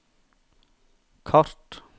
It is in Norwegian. kart